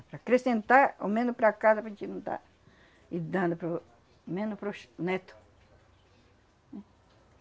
Para acrescentar ao menos para casa, para a gente não tá dando para o, menos para os netos.